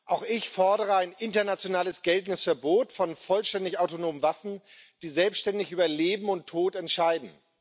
Auch ich fordere ein international geltendes Verbot von vollständig autonomen Waffen, die selbständig über Leben und Tod entscheiden.